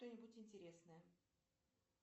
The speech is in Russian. что нибудь интересное